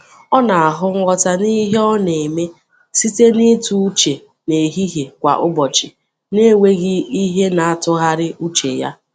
Ọ na-ahụ nghọta n’ihe ọ na-eme site n’ịtụ uche n’ehihie kwa ụbọchị n’enweghị ihe na-atụgharị uche ya.